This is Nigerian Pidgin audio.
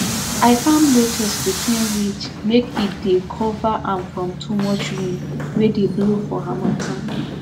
i farm lettuce between ridges make e dey cover am from too much wind wey dey blow for harmattan